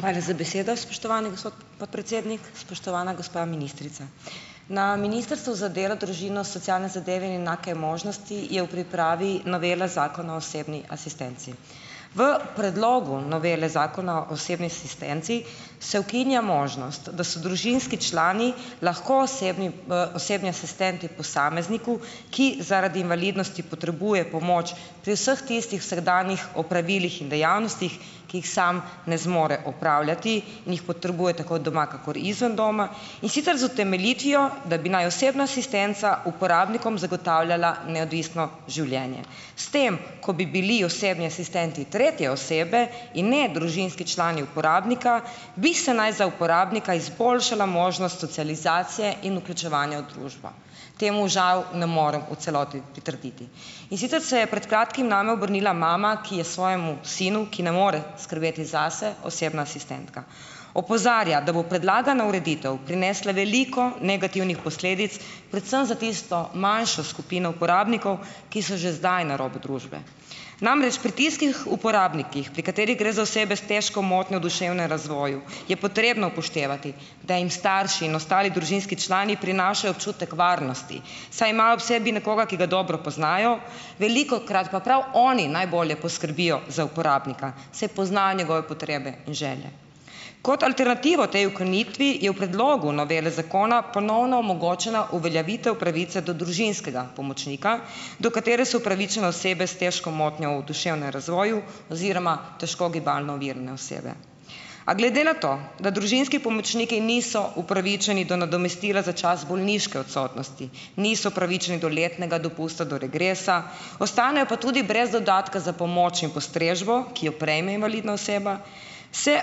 Hvala za besedo, spoštovani gospod podpredsednik. Spoštovana gospa ministrica! Na Ministrstvu za delo, družino, socialne zadeve in enake možnosti je v pripravi novela Zakona o osebni asistenci. V predlogu novele Zakona o osebni asistenci se ukinja možnost, da so družinski člani lahko osebni, osebni asistenti posamezniku, ki zaradi invalidnosti potrebuje pomoč pri vseh tistih vsakdanjih opravilih in dejavnostih, ki jih sam ne zmore opravljati in jih potrebuje tako doma kakor izven doma, in sicer z utemeljitvijo, da bi naj osebna asistenca uporabnikom zagotavljala neodvisno življenje. S tem, ko bi bili osebni asistenti tretje osebe in ne družinski člani uporabnika, bi se naj za uporabnika izboljšala možnost socializacije in vključevanja v družbo. Temu žal ne morem v celoti pritrditi. In sicer se je pred kratkim name obrnila mama, ki je svojemu sinu, ki ne more skrbeti zase, osebna asistentka. Opozarja, da bo predlagana ureditev prinesla veliko negativnih posledic predvsem za tisto manjšo skupino uporabnikov, ki so že zdaj na robu družbe. Namreč pri tistih uporabnikih, pri katerih gre za osebe s težko motnjo v duševnem razvoju, je potrebno upoštevati, da jim starši in ostali družinski člani prinašajo občutek varnosti, saj imajo ob sebi nekoga, ki ga dobro poznajo, velikokrat pa prav oni najbolje poskrbijo za uporabnika, saj poznajo njegove potrebe in želje. Kot alternativo tej ukinitvi je v predlogu novele zakona ponovno onemogočena uveljavitev pravice do družinskega pomočnika, do katere so upravičene osebe s težko motnjo v duševnem razvoju oziroma težko gibalno ovirane osebe. A glede na to, da družinski pomočniki niso upravičeni do nadomestila za čas bolniške odsotnosti, niso upravičeni do letnega dopusta, do regresa, ostanejo pa tudi brez dodatka za pomoč in postrežbo, ki jo prejme invalidna oseba, se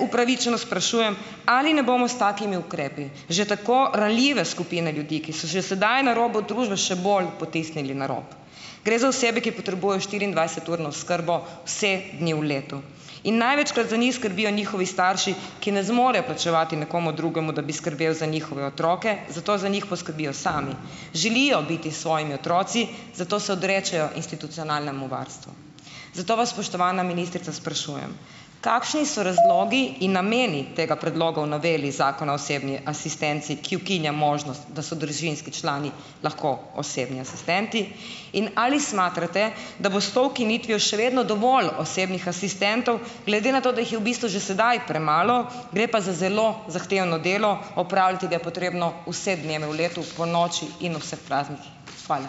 upravičeno sprašujem, ali ne bomo s takimi ukrepi že tako ranljive skupine ljudi, ki so že sedaj na robu družbe, še bolj potisnili na rop. Gre za osebe, ki potrebujejo štiriindvajseturno oskrbo vse dni v letu in največkrat za njih skrbijo njihovi starši, ki ne zmorejo plačevati nekomu drugemu, da bi skrbel za njihove otroke, zato za njih poskrbijo sami. Želijo biti s svojimi otroci, zato se odrečejo institucionalnemu varstvu. Zato vas, spoštovana ministrica sprašujem, kakšni so razlogi in nameni tega predloga v noveli Zakona o osebni asistenci, ki ukinja možnost, da so družinski člani lahko osebni asistenti, in ali smatrate, da bo s to ukinitvijo še vedno dovolj osebnih asistentov, glede na to, da jih je v bistvu že sedaj premalo, gre pa za zelo zahtevno delo, opravljati ga je potrebno vse dneve v letu, ponoči in ob vseh praznikih. Hvala.